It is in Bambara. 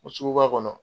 O suguba kɔnɔ